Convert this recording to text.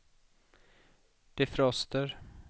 defroster